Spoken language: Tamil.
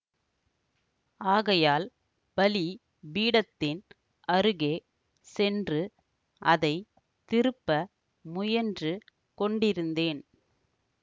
ஆகையால் பலி பீடத்தின் அருகே சென்று அதை திருப்ப முயன்று கொண்டிருந்தேன்